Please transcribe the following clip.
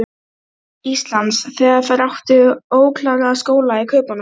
Hún rifjaði upp allt það skemmtilega sem gerst hafði á